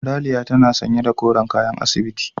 Ralia tana sanye da koren kayan asibiti.